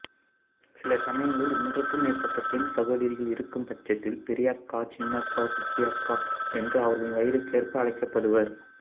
சில சமயங்களில் ஒன்றுக்குமேற்பட்ட பெண் சகோதரிகள் இருக்கும் பட்சத்தில் பெரியக்கா சின்னக்கா குட்டியக்கா என்று அவர்களின் வயதிற்கேற்ப அழைக்கப்படுவர்